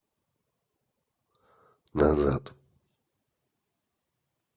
назад